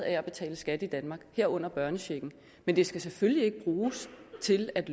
at betale skat i danmark herunder børnechecken men det skal selvfølgelig ikke bruges til at